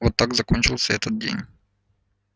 вот так закончился этот день